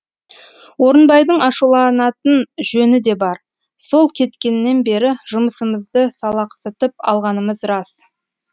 орынбайдың ашуланатын жөні де бар сол кеткеннен бері жұмысымызды салақсытып алғанымыз рас